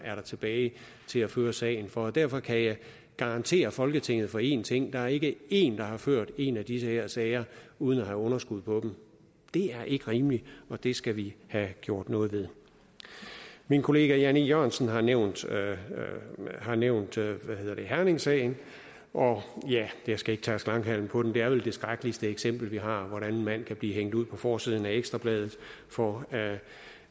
tilbage til at føre sagen for derfor kan jeg garantere folketinget for en ting der er ikke én der har ført en af de her sager uden at have underskud på dem det er ikke rimeligt og det skal vi have gjort noget ved min kollega jan e jørgensen har nævnt har nævnt herningsagen og jeg skal ikke tærske langhalm på den det er vel det skrækkeligste eksempel vi har hvordan en mand kan blive hængt ud på forsiden af ekstra bladet for at